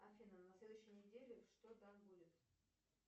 афина на следующей неделе что там будет